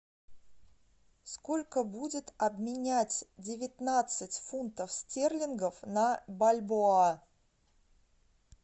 сколько будет обменять девятнадцать фунтов стерлингов на бальбоа